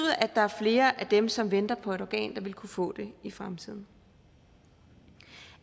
at der er flere af dem som venter på et organ der vil kunne få det i fremtiden